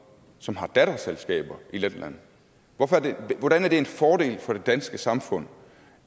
som har datterselskaber i letland hvordan er det en fordel for det danske samfund